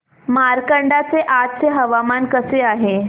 मार्कंडा चे आजचे हवामान कसे आहे